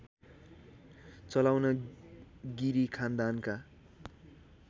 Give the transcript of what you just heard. चलाउन गिरी खानदानका